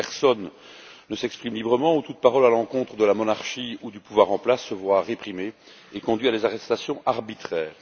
Plus personne ne s'exprime librement, toute parole à l'encontre de la monarchie ou du pouvoir en place se voit réprimer et conduit à des arrestations arbitraires.